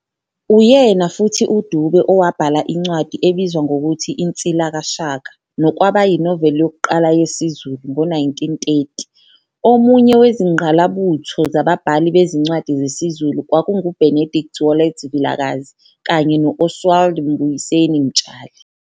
Uyena futhi uDube owabhala incwadi ebizwa ngokuthi Insila Kashaka, nokwaba yiNovel yokuqala yesiZulu, 1930. Omunye wezingqalabutho zababhali bezincwadi zesiZulu kwakungu Benedict Wallet Vilakazi, kanye no Oswald Mbuyiseni Mtshali.